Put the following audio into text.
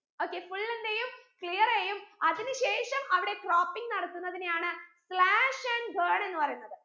okay full എന്തെയ്യും clear എയ്യും അതിന് ശേഷം അവിടെ croping നടത്തുന്നതിനെയാണ് slash and burn എന്ന് പറയുന്നത്